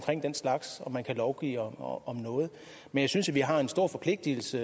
den slags og man kan lovgive om om noget men jeg synes vi har en stor forpligtelse